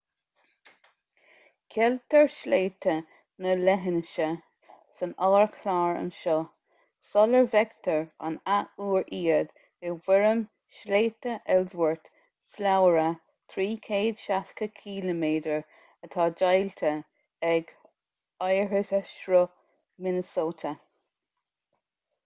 ceiltear sléibhte na leithinse san ardchlár anseo sula bhfeictear an athuair iad i bhfoirm shléibhte ellsworth slabhra 360 km atá deighilte ag oighearshruth minnesota